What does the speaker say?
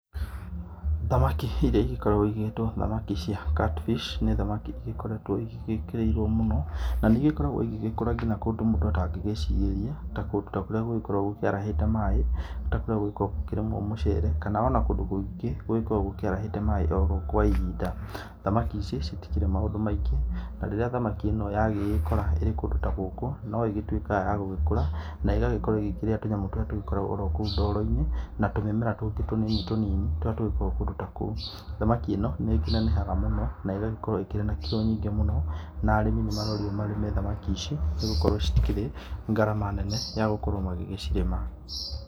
Thamaki irĩa igĩkoragwo igĩtwo thamaki cia cat fish, nĩ thamaki ikoretwo igĩgĩkĩrĩirwo mũno, na nĩ igĩkoragwo igĩgĩkũra nginya kũndũ mũndũ atangĩgĩciriria ta kũndũ kũrĩa gũkoragwo gũkĩarahĩta maaĩ, ta kũrĩa gũgĩkoragwo gũkĩrĩmwo mũcere. Kana ona kũndũ kũingĩ gũgĩkoragwo gũkĩarahĩte maaĩ oro kwa ihinda. Thamaki ici citikĩrĩ maũndũ maingĩ na rĩrĩa thamaki ĩno yagĩgĩkora ĩrĩ kũndũ ta gũkũ no ĩgĩtuĩkaga ya gũgĩkũra na çigagĩkorwo igĩkĩrĩa tũnyamũ tũrĩa tũgĩkoragwo orokũu ndoro-inĩ na tumĩmera tũngĩ tũnini tũnini tũrĩa tũgĩkoragwo kũndũ ta kũu. Thamaki ĩno nĩ ĩkĩnenehaga mũno na ĩgagĩkorwo ĩkĩrĩ na kirũ nyingĩ mũno, na arĩmi nĩ marorio marĩme thamaki ici nĩ gũkorwo citikĩrĩ ngarama nene ya gũkorwo magĩgĩcirĩma.